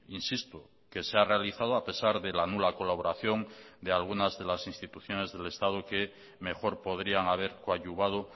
insisto que se ha realizado a pesar de la nula colaboración de algunas de las instituciones del estado que mejor podrían haber coadyuvado